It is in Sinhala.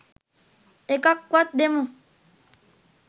එකක් වත් දෙමු